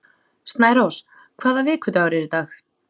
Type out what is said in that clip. Snærós, hvaða vikudagur er í dag?